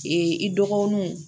Ee i dɔgɔninw